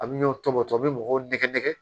A bɛ ɲɔn tɔmɔ tɔw bɛ mɔgɔw nɛgɛ nɛgɛ